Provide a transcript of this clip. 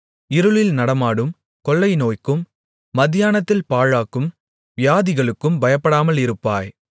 இருளில் நடமாடும் கொள்ளை நோய்க்கும் மத்தியானத்தில் பாழாக்கும் வியாதிகளுக்கும் பயப்படாமல் இருப்பாய்